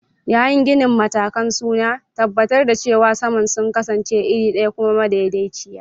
Yayin ginin, matakan suna tabbatar da cewa saman sun kasance iri ɗaya kuma madaidaiciya.